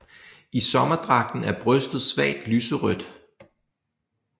I sommerdragten er brystet svagt lyserødt